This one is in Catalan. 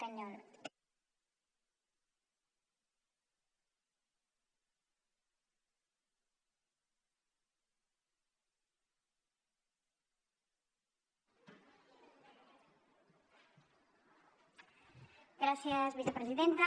gràcies vicepresidenta